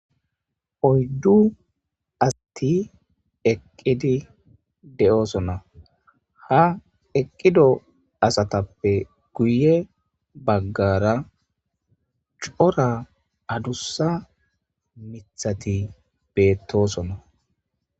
oyddu asti eqqidi de'oosona ha eqqido asatappe guye baggara cora adussa mithati beettosonna